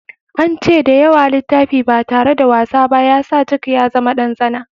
An ce da yawa littafi ba tare da wasa ba ya sa jack ya zama ɗan tsana.